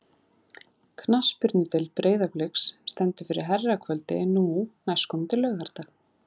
Knattspyrnudeild Breiðabliks stendur fyrir herrakvöldi nú næstkomandi laugardag.